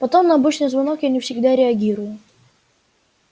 потом на обычный звонок я не всегда реагирую